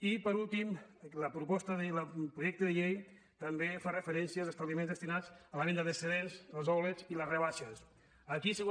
i per últim la proposta del projecte de llei també fa referència als establiments destinats a la venda d’excedents els outletsque